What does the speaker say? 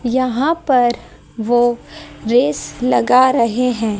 यहां पर वो रेस लगा रहे हैं।